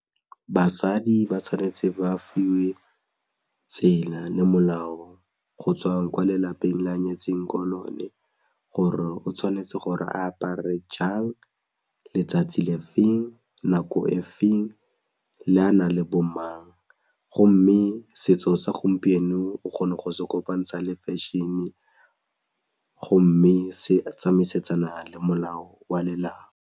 Basadi ba tshwanetse ba fiwe tsela le molao gotswa ko lelapeng le a nyetsweng ko lone gore o tshwanetse gore a apare jang, letsatsi le feng, nako e feng le a na le bomang gomme setso sa gompieno o kgona go se kopantsha le fashion-e gomme se tsamaisana le molao wa lelapa.